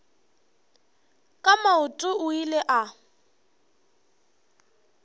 ka maoto o ile a